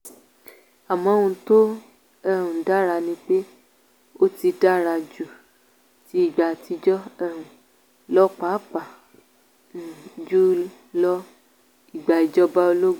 àmọ́ ohun tó um dára ni pé ó ti dára ju ti ìgbà àtijọ́ um lọ pàápàá um jù lọ ìgbà ìjọba ológun.